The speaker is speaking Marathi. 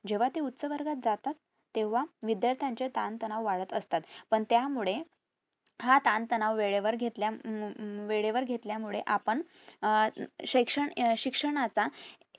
जेंव्हा ते उच्च वर्गात जातात तेंव्हा विध्यार्थाचे ताण तणाव वाढत असतात पण त्यामुळे हा ताणतणाव वेळेवर घेतल्या हम्म वेळेवर घेतल्या मुळे आपण अह शैक्षण अं शिक्षणाचा